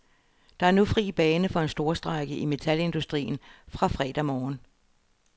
Der er nu fri bane for en storstrejke i metalindustrien fra fredag morgen.